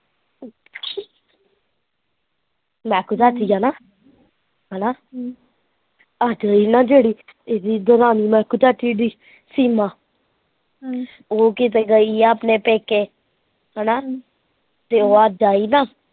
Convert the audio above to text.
ਮਹਿਕੂ ਚਾਚੀ ਆ ਨਾ ਹੈਨਾ ਅੱਜ ਨਾ ਜਿਹੜੀ, ਇਹਦੀ ਦਰਾਣੀ ਮਹਿਕੂ ਚਾਚੀ ਦੀ, ਸੀਮਾ ਹਮ ਉਹ ਕਿਤੇ ਗਈ ਆ ਆਪਣੇ ਪੇਕੇ, ਹੈਨਾ, ਤੇ ਓਹ ਅੱਜ ਆਈ ਨਾ